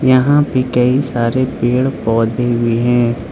यहां पे कई सारे पेड़ पौधे भी हैं।